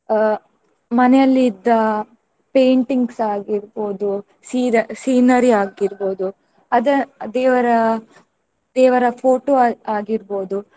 ಅಹ್ ಮನೆಯಲ್ಲಿದ್ದ painting ಸ ಆಗಿರ್ಬೋದು scera~ scenery ಆಗಿರ್ಬೋದು ಅದ~ ದೇವರ ದೇವರ photo ಆ~ ಆಗಿರ್ಬೋದು.